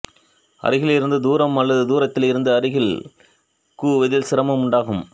அருகில் இருந்து தூரம் அல்லது தூரத்தில் இருந்து அருகில் குவிவதில் சிரமம் உண்டாகும்